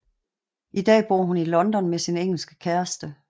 I dag bor hun i London med sin engelske kæreste